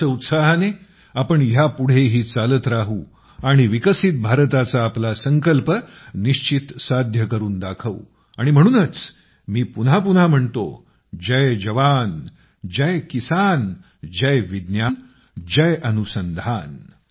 याच उत्साहाने आपण ह्या पुढेही चालत राहू व विकसित भारताचा आपला संकल्प निश्चित साध्य करून दाखवू आणि म्हणूनच मी पुन्हा पुन्हा म्हणतो जय जवान जय किसान जय विज्ञान जय अनुसंधान